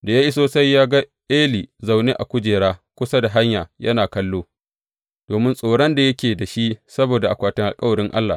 Da ya iso sai ga Eli zaune a kujera kusa da hanya yana kallo, domin tsoron da yake da shi saboda akwatin alkawarin Allah.